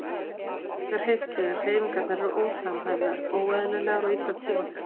Þau geta hreyft sig en hreyfingarnar eru ósamhæfðar, óeðlilegar og illa tímasettar.